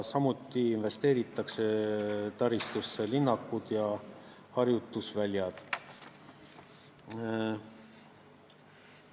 Samuti investeeritakse taristusse, linnakutesse ja harjutusväljadesse.